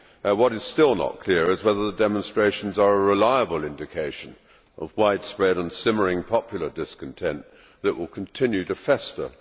What is still not clear is whether the demonstrations are a reliable indication of widespread and simmering popular discontent that will continue to fester.